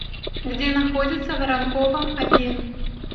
где находится воронкова один